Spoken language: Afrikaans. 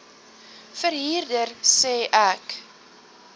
verhuurder sê ek